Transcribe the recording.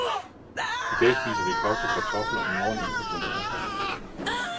I dag spiser vi kogte kartofler, i morgen en portion pasta.